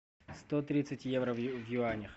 сто тридцать евро в юанях